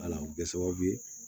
Wala o bɛ kɛ sababu ye